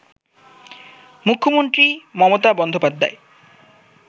মূখ্য মন্ত্রী মমতা বন্দোপাধ্যায়